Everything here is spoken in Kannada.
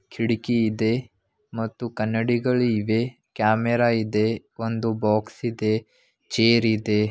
ಕಿಡಕಿ ಇದೆ ಮತ್ತು ಕನ್ನಡಿಗಳು ಇವೆ ಕ್ಯಾಮೆರಾ ಇದೆ ಒಂದು ಬಾಕ್ಸ್ ಇದೆ ಚೇರ್ ಇದೆ.